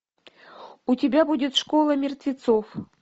у тебя будет школа мертвецов